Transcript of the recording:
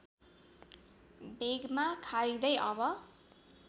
वेगमा खारिँदै अब